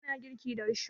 Muna girki da risho